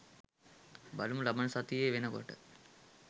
බලමු ලබන සතිය වෙනකොට